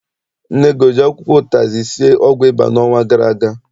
Nne gị o ji akwụkwọ ụtazị sie ọgwụ ịba n'ọnwa gara aga?